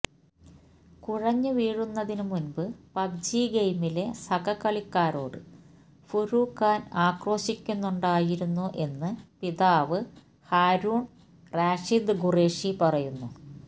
കുഴഞ്ഞുവീഴുന്നതിന് മുമ്പ് പബ്ജി ഗെയിമിലെ സഹകളിക്കാരോട് ഫുര്ഖാന് ആക്രോശിക്കുന്നുണ്ടായിരുന്നു എന്ന് പിതാവ് ഹാരൂണ് റാഷിദ് ഖുറേഷി പറയുന്നു